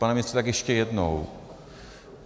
Pane ministře, tak ještě jednou.